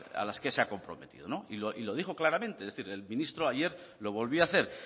a las que se ha comprometido y lo dijo claramente es decir el ministro ayer lo volvió a hacer